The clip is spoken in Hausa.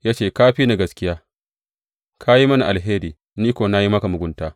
Ya ce, Ka fi ni gaskiya, ka yi mini alheri, ni kuwa na yi maka mugunta.